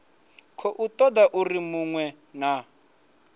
khou toda uri munwe na